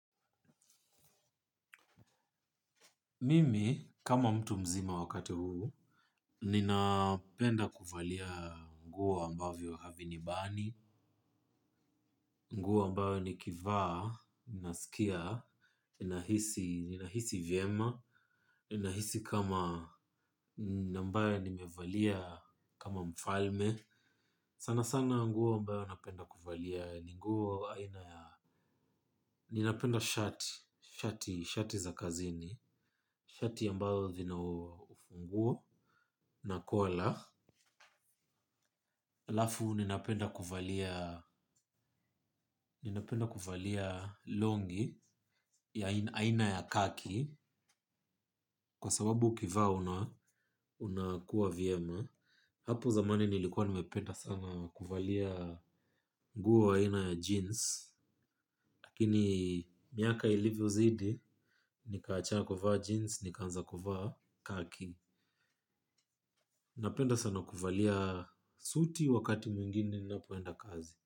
Mimi, kama mtu mzima wakati huu, ninapenda kuvalia nguo ambavyo havinibani, nguo ambayo nikivaa, ninasikia, nina hisi vyema, nina hisi kama ambayo nimevalia kama mfalme. Sana sana nguo ambayo napenda kuvalia ni nguo aina ya ninapenda shati. Shati za kazini shati ambayo zina ufunguo. Na kola halafu ninapenda kuvalia. Ninapenda kuvalia longi ya aina ya khaki. Kwa sababu ukivaa una unakuwa vyema. Hapo zamani nilikuwa nimependa sana kuvalia. Nguo aina ya jeans. Lakini miaka ilivyo zidi nikaacha kuvaa jeans, nikaanza kuvaa khaki. Napenda sana kuvalia suti wakati mwingine napoenda kazi.